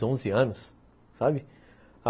anos, sabe?